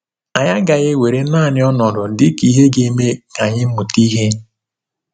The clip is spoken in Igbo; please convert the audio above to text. Anyị agaghị ewere naanị ọnọdụ dị ka ihe ga-eme ka anyị mụta ihe.